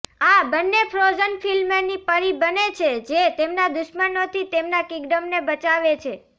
આ બંને ફ્રોઝન ફિલ્મની પરી બને છે જે તેમના દુશ્મનોથી તેમના કિંગડમને બચાવે છે